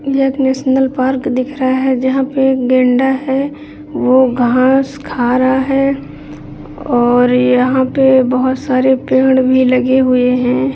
यह एक national park दिख रहा है जहाँ पे एक गेंडा है वो घास खा रहा है और यहाँ पे बहुत सारे पेड़ भी लगे हुए है।